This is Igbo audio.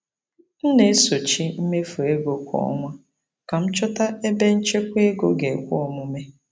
M na-esochi mmefu ego kwa ọnwa ka m chọta ebe nchekwa ego ga-ekwe omume.